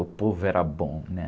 O povo era bom, né?